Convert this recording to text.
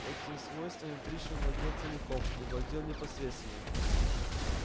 этим свойством пришвин владел целиком и владел непосредственно